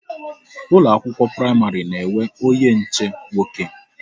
Ụlọ akwụkwọ praịmarị na-enwe onye nche nwoke